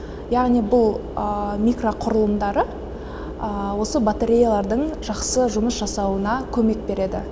яғни бұл микроқұрылымдары осы батареялардың жақсы жұмыс жасауына көмек береді